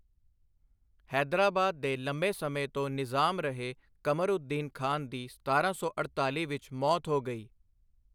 ਹੈਦਰਾਬਾਦ ਦੇ ਲੰਮੇ ਸਮੇਂ ਤੋਂ ਨਿਜ਼ਾਮ ਰਹੇ ਕਮਰਉੱਦੀਨ ਖਾਨ ਦੀ ਸਤਾਰਾਂ ਸੌ ਅੜਤਾਲੀ ਵਿੱਚ ਮੌਤ ਹੋ ਗਈ।